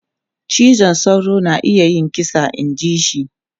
Cizon sauro na iya yin kisa inji shi.